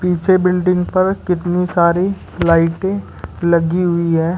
पीछे बिल्डिंग पर कितनी सारी लाइटें लगी हुई है।